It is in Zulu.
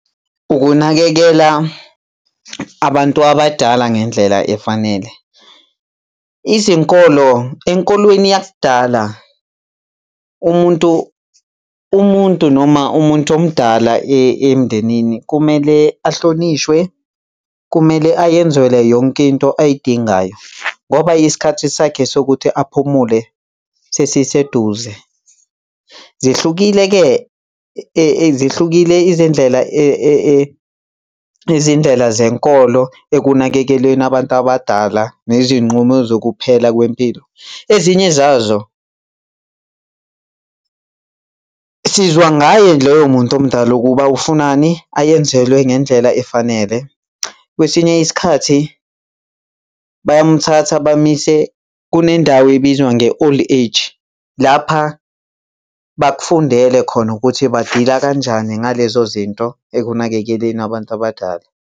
Ukunakekela abantu abadala ngendlela efanele. Izinkolo, enkolweni yakudala umuntu, umuntu noma umuntu omdala emndenini kumele ahlonishwe, kumele ayenzele yonke into ayidingayo, ngoba isikhathi sakhe sokuthi aphumule sesiseduze. Zihlukile-ke zihlukile izindlela izindlela zenkolo ekunakekelweni abantu abadala nezinqumo zokuphela kwempilo. Ezinye zazo, sizwa ngaye loyo muntu omdala ukuba ufunani, ayenzelwe ngendlela efanele. Kwesinye isikhathi bayamthatha bamuyise kunendawo ebizwa nge-old age lapha bakufundela khona ukuthi ba-deal-a kanjani ngalezo zinto ekunakekeleni abantu abadala.